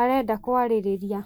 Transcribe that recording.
arenda kwarĩrĩria.